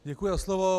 Děkuji za slovo.